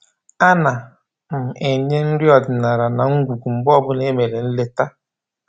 A na m enye nri ọdịnaala na ngwugwu mgbe ọbụla e mere nleta